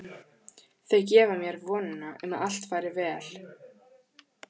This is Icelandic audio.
Þau gefa mér vonina um að allt fari vel.